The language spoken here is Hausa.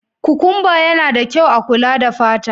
Kukumba yana da kyau a kula da fata.